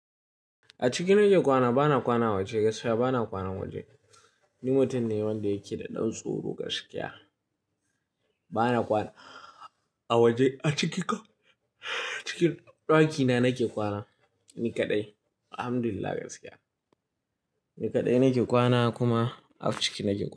A ciki nake kwana, bana kwana a waje gaskiya bana kwana a waje. Ni mutum ne wanda yake da ɗan tsoro gaskiya. Bana kwana a waje, a ciki ɗakina nake kwana ni kaɗai Alhamdulillah gaskiya. Ni kaɗai nake kwana kuma a ciki nake kwana.